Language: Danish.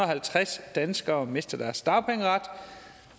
halvtreds danskere mister deres dagpengeret